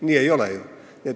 Nii ei ole ju.